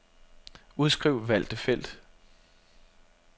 Udskriv valgte felt.